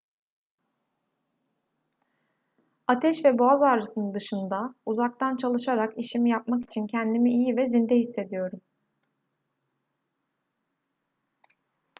ateş ve boğaz ağrısının dışında uzaktan çalışarak işimi yapmak için kendimi iyi ve zinde hissediyorum